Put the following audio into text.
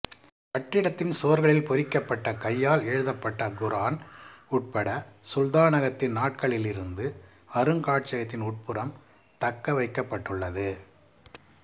கட்டிடத்தின் சுவர்களில் பொறிக்கப்பட்ட கையால் எழுதப்பட்ட குர்ஆன் உட்பட சுல்தானகத்தின் நாட்களிலிருந்து அருங்காட்சியகத்தின் உட்புறம் தக்கவைக்கப்பட்டுள்ளது